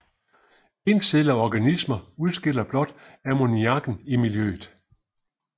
Encellede organismer udskiller blot ammoniakken i miljøet